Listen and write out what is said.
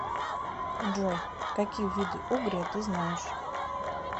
джой какие виды угрия ты знаешь